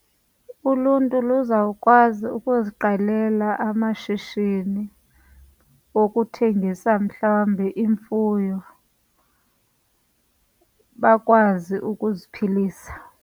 Uluntu luzawukwazi ukuziqalela amashishini okuthengisa mhlawumbi imfuyo, bakwazi ukuziphilisa.